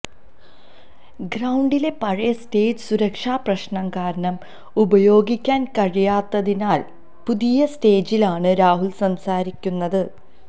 ഗ്രൌണ്ടിലെ പഴയ സ്റ്റേജ് സുരക്ഷാപ്രശ്നം കാരണം ഉപയോഗിക്കാന് കഴിയാത്തതിനാല് പുതിയ സ്റ്റേജിലാണ് രാഹുല് സംസാരിക്കുന്നത്